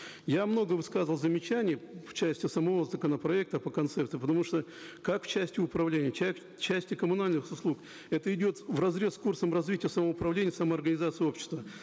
я много высказывал замечаний в части самого законопроекта по концептам потому что как в части управления части коммунальных услуг это идет вразрез с курсом развития самоуправления самоорганизации общества